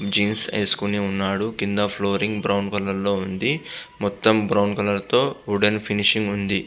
Jeans వేసుకొని ఉన్నాడు. కింద ఫ్లోరింగ్ బ్రౌన్ కలర్ లో ఉంది. మొత్తం బ్రౌన్ కలర్ తో వుడ్ అండ్ ఫినిషింగ్ ఉంది.